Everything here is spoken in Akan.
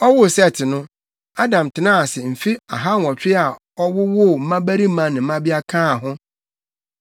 Ɔwoo Set no, Adam tenaa ase mfe ahanwɔtwe a ɔwowoo mmabarima ne mmabea kaa ho.